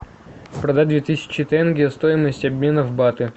продать две тысячи тенге стоимость обмена в баты